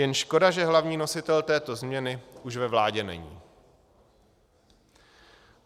Jen škoda, že hlavní nositel této změny už ve vládě není.